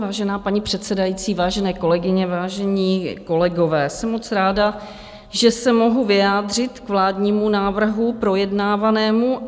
Vážená paní předsedající vážené kolegyně, vážení kolegové, jsem moc ráda, že se mohu vyjádřit k vládnímu návrhu projednávanému.